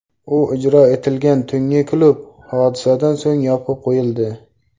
U ijro etilgan tungi klub hodisadan so‘ng yopib qo‘yildi.